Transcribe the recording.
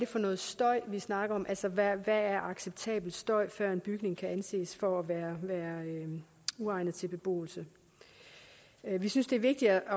for noget støj vi snakker om altså hvad der er acceptabel støj før en bygning kan anses for at være uegnet til beboelse vi synes det er vigtigt at